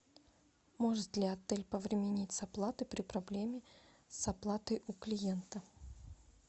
может ли отель повременить с оплатой при проблеме с оплатой у клиента